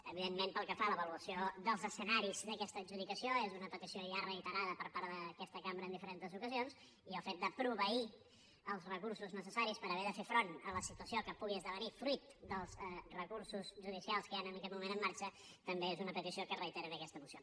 evidentment pel que fa a l’avaluació dels escenaris d’aquesta adjudicació és una petició ja reiterada per part d’aquesta cambra en diferents ocasions i el fet de proveir els recursos necessaris per haver de fer front a la situació que pugui esdevenir fruit dels recursos judicials que hi han en aquest moment en marxa també és una petició que es reitera en aquesta moció